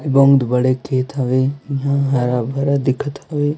ये बहुत बड़े खेत इहा हरा-भरा दिखत हवे।